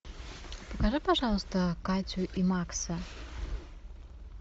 покажи пожалуйста катю и макса